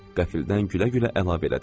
Qəfildən gülə-gülə əlavə elədi.